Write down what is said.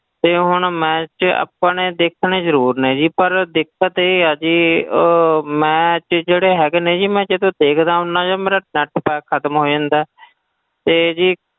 ਤੇ ਹੁਣ match ਆਪਣੇ ਦੇਖਣੇ ਜ਼ਰੂਰ ਨੇ ਜੀ ਪਰ ਦਿੱਕਤ ਇਹ ਆ ਜੀ ਅਹ match ਜਿਹੜੇ ਹੈਗੇ ਨੇ ਜੀ ਮੈਂ ਜਦੋਂ ਦੇਖਦਾ ਹੁੰਦਾ ਜੀ ਮੇਰਾ net pack ਖ਼ਤਮ ਹੋ ਜਾਂਦਾ ਹੈ ਤੇ ਜੀ,